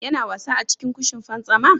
Yana wasa a cikin kushin fantsama?